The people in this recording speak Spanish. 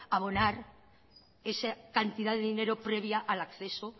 abonar esa cantidad de dinero previa al acceso